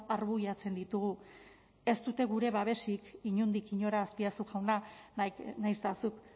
arbuiatzen ditugu ez dute gure babesik inondik inora azpiazu jauna nahiz eta zuk